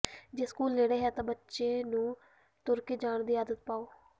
ਜੇ ਸਕੂਲ ਨੇੜੇ ਹੈ ਤਾ ਬੱਚੇ ਨੂੰ ਤੁਰ ਕੇ ਜਾਣ ਦੀ ਆਦਤ ਪਾਓ